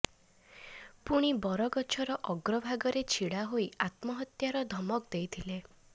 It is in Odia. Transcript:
ପୁଣି ବରଗଛର ଅଗ୍ର ଭାଗରେ ଛିଡ଼ା ହୋଇ ଆତ୍ମହତ୍ୟାର ଧମକ ଦେଇଥିଲେ